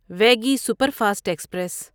Vaigai superfast express